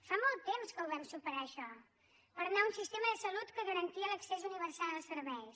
fa molt temps que ho vam superar això per anar a un sistema de salut que garantia l’accés universal als serveis